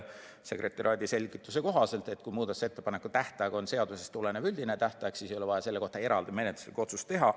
Sekretariaadi selgituse kohaselt, kui muudatusettepanekute tähtaeg on seadusest tulenev üldine tähtaeg, siis ei ole vaja selle kohta eraldi menetluslikku otsust teha.